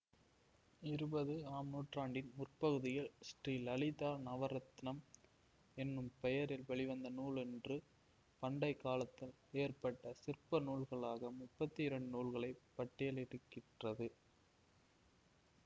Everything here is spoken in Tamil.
இருபது ஆம் நூற்றாண்டின் முற்பகுதியில் ஸ்ரீ லலிதா நவரத்னம் என்னும் பெயரில் வெளிவந்த நூலொன்று பண்டை காலத்தில் ஏற்பட்ட சிற்ப நூல்களாக முப்பத்தி இரண்டு நூல்களை பட்டியலிட்டிருக்கிறது